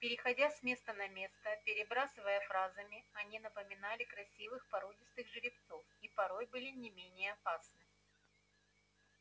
переходя с места на место перебрасывая фразами они напоминали красивых породистых жеребцов и порой были не менее опасны